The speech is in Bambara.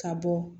Ka bɔ